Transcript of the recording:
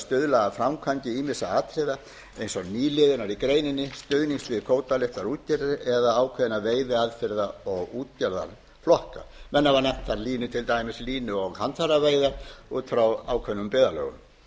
stuðla að framkvæmd ýmissa atriða eins og nýliðunar í greininni stuðnings við kvótalausar útgerðir eða ákveðna veiðiaðferða og útgerðarflokka menn hafa nefnt þar til dæmis línu og handfæraveiðar út frá ákveðnum byggðarlögum